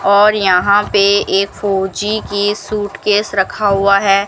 और यहां पे एक फूजी की सूटकेस रखा हुआ है।